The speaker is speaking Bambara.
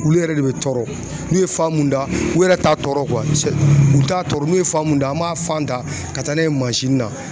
Olu yɛrɛ de bɛ tɔrɔ n'u ye fan mun da u yɛrɛ t'a tɔrɔ u t'a tɔrɔ n'u ye fan mun da an m'a fan ta ka taa n'a ye mansinni na